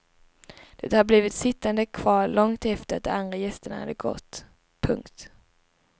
De hade blivit sittande kvar långt efter att de andra gästerna hade gått. punkt